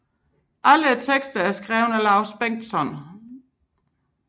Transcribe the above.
Alle tekster er skrevet af Laus Bengtsson